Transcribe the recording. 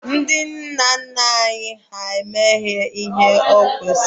Ndị nna nna anyị ha amaghị ihe bụ gaasị kuka.